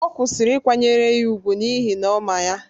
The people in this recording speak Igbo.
Ọ kwụsịrị ịkwanyere ya ùgwù n’ihi na ọ ma ya